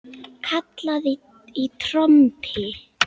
Kallað í trompi.